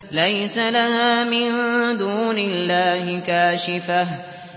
لَيْسَ لَهَا مِن دُونِ اللَّهِ كَاشِفَةٌ